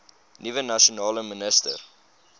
nuwe nasionale minister